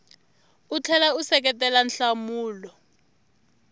u tlhela u seketela nhlamulo